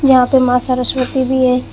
यहां पे मां सरस्वती भी है।